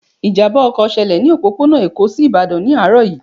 Ìjàmbá ọkọ̀ ṣẹlẹ̀ ní òpópónà Èkó sí Ìbàdàn ní àárọ̀ yìí